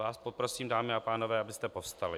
Vás poprosím, dámy a pánové, abyste povstali.